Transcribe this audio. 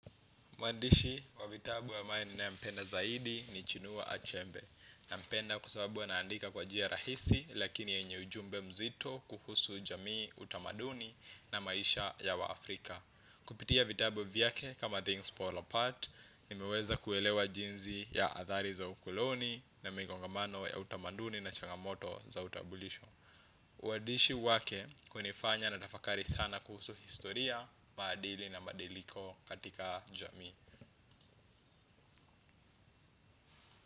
Mwadishi wa vitabu ambaye ninayempenda zaidi ni chinua achebe. Nampenda kwa sababu anaandika kwa njia rahisi lakini yenye ujumbe mzito kuhusu jamii utamaduni na maisha ya wa Afrika. Kupitia vitabu vyake kama things fall apart, nimeweza kuelewa jinzi ya athari za ukuloni na migongamano ya utamaduni na changamoto za utabulisho. Uwaadishi wake hunifanya natafakari sana kuhusu historia, madili na madiliko katika jamii.